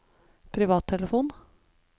privattelefon